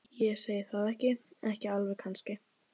Ég segi það ekki. ekki alveg kannski.